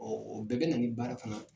Ɔɔ o bɛɛ bɛ na ni baara fana